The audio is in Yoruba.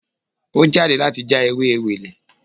Ó jáde láti já ewé Ewèlè